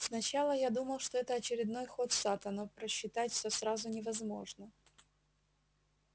сначала я думал что это очередной ход сатта но просчитать все сразу невозможно